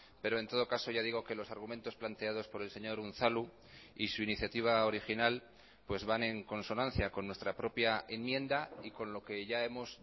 pero en todo caso ya digo que los argumentos planteados por el señor unzalu y su iniciativa original pues van en consonancia con nuestra propia enmienda y con lo que ya hemos